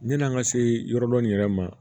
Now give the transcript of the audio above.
Yan'an ka se yɔrɔ dɔ in yɛrɛ ma